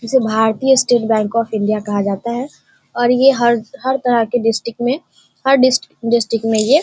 इसे भारतीयों state bank India कया जाता है और ये हर हर तरह के डिस्ट्रिक्ट में हर डिस्ट डिस्ट्रिक्ट में ये --